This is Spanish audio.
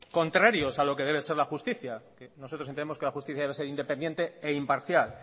contrarios a lo que debe ser la justicia nosotros entendemos que la justicia debe ser independiente e imparcial